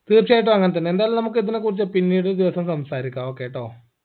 തീർച്ചയായിട്ടും അങ്ങൻതന്നെ എന്തായാലും നമക്ക് ഇതിനെക്കുറിച്ച് പിന്നീട് ഒരു ദിവസം സംസാരിക്കാം okay ട്ടോ